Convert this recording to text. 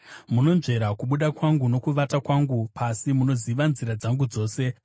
Munonzvera kubuda kwangu nokuvata kwangu pasi; munoziva nzira dzangu dzose.